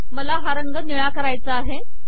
मला हा रंग निळा करायचा आहे